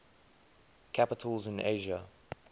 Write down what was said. capitals in asia